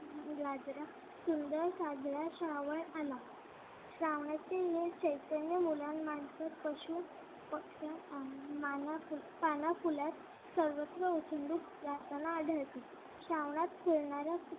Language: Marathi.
सुंदर साजरा श्रावण आला श्रावणाचे नवे चैतन्य मुलानं मानसांन पशु पक्षांना पाना फुलांत सर्वत्र आढळते श्रावणात खेळणाऱ्या